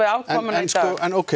afkomuna í dag en